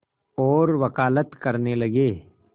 और वक़ालत करने लगे